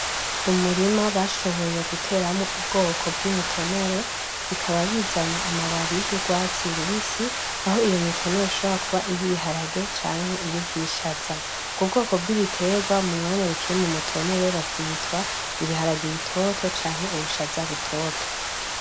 Umurima bashoboye guteramwo ubwoko bw'imitonore, bikaba bizana amababi y'urwatsi rubisi ah'iyo mitonore ishobora kuba iy'ibiharage canke iy'ubwishaza. Ubwo bwoko bw'ibiterwa umwanya bukiri mu mutonore bavyitwa, ibiharage bitoto canke ubwishaza butoto.